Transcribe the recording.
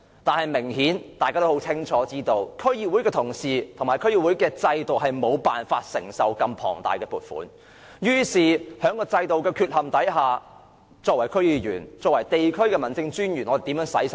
但是，大家都知道，區議會的同事和區議會制度無法承受如此龐大的撥款，於是在制度存有缺陷的情況下，區議員和地區的民政事務專員如何花掉這筆款項呢？